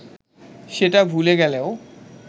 সেটা ভুলে গেলেও